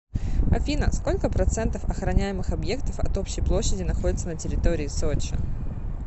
афина сколько процентов охраняемых объектов от общей площади находится на территории сочи